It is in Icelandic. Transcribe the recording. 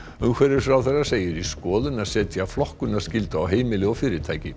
umhverfisráðherra segir í skoðun að setja flokkunarskyldu á heimili og fyrirtæki